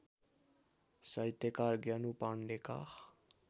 साहित्यकार ज्ञानु पाण्डेका